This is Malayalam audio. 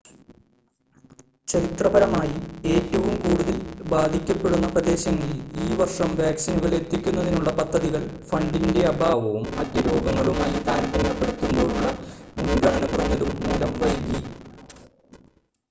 ചരിത്രപരമായി ഏറ്റവും കൂടുതൽ ബാധിക്കപ്പെടുന്ന പ്രദേശങ്ങളിൽ ഈ വർഷം വാക്‌സിനുകൾ എത്തിക്കുന്നതിനുള്ള പദ്ധതികൾ ഫണ്ടിൻ്റെ അഭാവവും മറ്റ് രോഗങ്ങളുമായി താരതമ്യപ്പെടുത്തുമ്പോളുള്ള മുൻഗണന കുറഞ്ഞതും മൂലം വൈകി